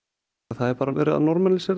það er bara verið að normalísera